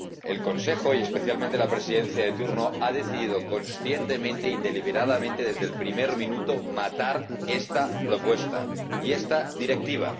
El Consejo, y especialmente la Presidencia de turno, ha decidido conscientemente y deliberadamente, desde el primer minuto, matar esta propuesta y esta Directiva.